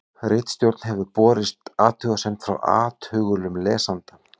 Ritstjórn hefur borist athugasemd frá athugulum lesanda.